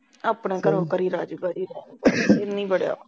ਆਪਣੇ ਘਰੋਂ ਕਰੀਦਾ ਐਨਾ ਹੀ ਬੜਾ ਵਾ